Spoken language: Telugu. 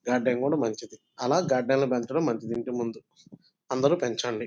గడ్డలు కూడా మంచిది .ఆలా గడ్డలు ను పెంచడం మంచిది ఇంటి ముందు అందరూ పెంచండి.